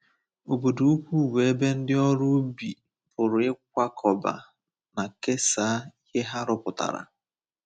Obodo ukwu bụ ebe ndị ọrụ ubi pụrụ ịkwakọba na kesaa ihe ha rụpụtara.